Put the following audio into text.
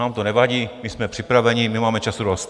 Nám to nevadí, my jsme připravení, my máme času dost.